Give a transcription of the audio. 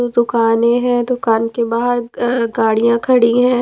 दुकानें हैं दुकान के बाहर गाड़ियां खड़ी हैं।